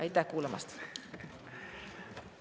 Aitäh kuulamast!